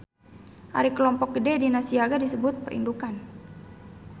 Ari kelompok gede dina siaga disebut Perindukan.